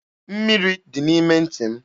Mmiri dị n'ime ntị m.